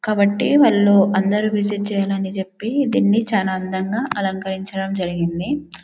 కాబట్టి వాళ్ళు అందరు విజిట్ చెయ్యాలి అన్ని చెపి దీని చాలా అందంగా అలకరించడం జరిగింది.